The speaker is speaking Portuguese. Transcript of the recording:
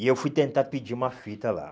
E eu fui tentar pedir uma fita lá.